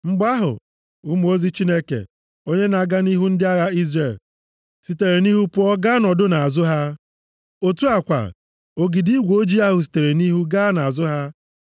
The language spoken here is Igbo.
Mgbe ahụ, mmụọ ozi Chineke, onye na-aga nʼihu ndị agha Izrel, sitere nʼihu pụọ gaa nọdụ nʼazụ ha. Otu a kwa, ogidi igwe ojii ahụ sitere nʼihu gaa nʼazụ ha.